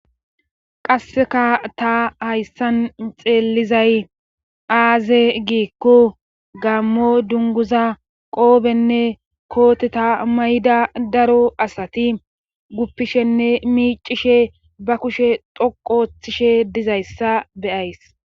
Qasseka ta hayssan xeellizay aaze giikko gammo dunguza qoobenne kooteta mayda daro asati guppishenne miicishe ba kushe xoqoththishe dizayssa beyays.